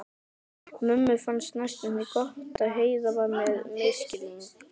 Mömmu fannst næstum því gott að Heiða var með mislinga.